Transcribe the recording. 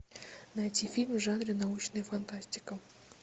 найти фильм в жанре научная фантастика